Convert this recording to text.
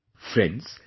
Friends,